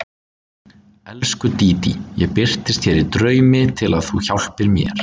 Elsku Dídí, ég birtist þér í draumi til að þú hjálpir mér.